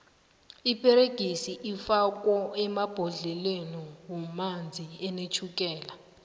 iperegisi ifakwo emabhodleleni womanzi anetjhukela